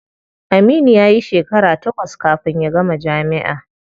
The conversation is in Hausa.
Aminu yayi shekara takwas kafin ya gama jami'a.